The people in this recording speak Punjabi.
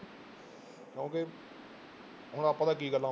ਕਿਉਂਕਿ ਹੁਣ ਆਪਾਂ ਤਾਂ ਕੀ ਗੱਲਾਂ